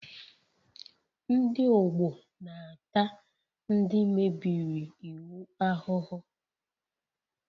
Ndị ọgbọ na-ata ndị mebiri iwu ahụhụ